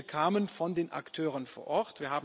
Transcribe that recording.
Die Vorschläge kamen von den Akteuren vor Ort.